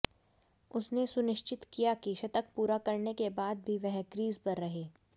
उसने सुनिश्चित किया कि शतक पूरा करने के बाद भी वह क्रीज पर रहे